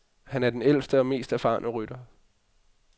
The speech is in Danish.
Han er den ældste og mest erfarne rytter.